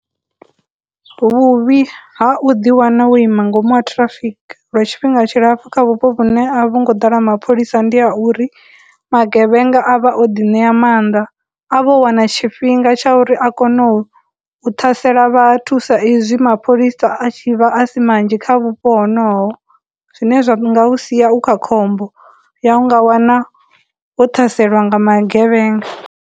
Vhuvhi ha u ḓi wana wo ima ngomu ha traffic lwa tshifhinga tshilapfhu kha vhupo vhune a vhu ngo ḓala mapholisa ndi ha uri magevhenga a vha o ḓi ṋea mannḓa, a vha o wana tshifhinga tsha uri a kono u ṱhasela vhathu sa izwi mapholisa a tshi vha a si manzhi kha vhupo honoho, zwine zwa nga u sia u kha khombo ya u nga wana wo thaselwa nga magevhenga.